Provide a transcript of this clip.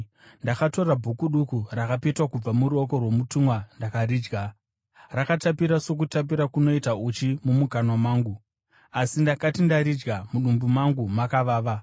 Ndakatora bhuku duku rakapetwa kubva muruoko rwomutumwa ndikaridya. Raitapira sokutapira kunoita uchi mumukanwa mangu, asi ndakati ndaridya, mudumbu mangu makavava.